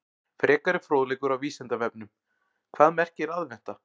Frekari fróðleikur á Vísindavefnum: Hvað merkir aðventa?